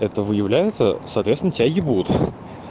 это выявляется соответственно тебя ебут